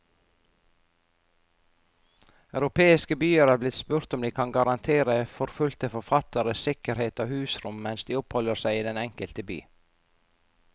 Europeiske byer er blitt spurt om de kan garantere forfulgte forfattere sikkerhet og husrom mens de oppholder seg i den enkelte by.